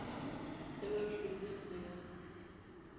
le ba hlwaileng ho ya